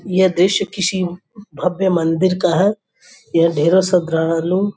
यह दृश्य किसी भव्य मंदिर का है। यहां ढेरो श्रद्धालु --